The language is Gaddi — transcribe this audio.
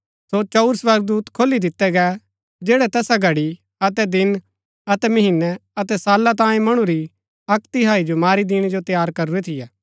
सो चंऊर स्वर्गदूत खोली दितै गै जैड़ै तैसा घड़ी अतै दिन अतै महीनै अतै साला तांयें मणु री अक्क तिहाई जो मारी दिणै जो तैयार करूरै थियै